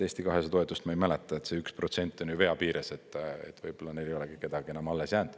Eesti 200 toetust ma ei mäleta, see 1% on ju vea piires, võib-olla neil ei olegi kedagi enam alles jäänud.